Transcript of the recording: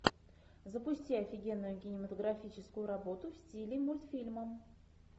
запусти офигенную кинематографическую работу в стиле мультфильма